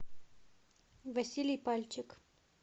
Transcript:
василий пальчик